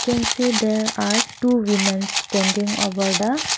we can see there are two womens standing over the--